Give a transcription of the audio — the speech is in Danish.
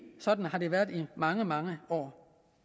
sådan har været i mange mange år